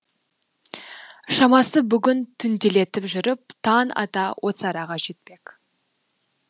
шамасы бүгін түнделетіп жүріп таң ата осы араға жетпек